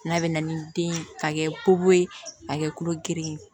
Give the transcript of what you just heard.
N'a bɛ na ni den ye k'a kɛ koko ye a kɛ kulo geren ye